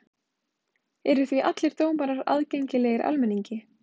Eru því allir dómar aðgengilegir almenningi.